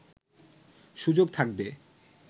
সুযোগ থাকবে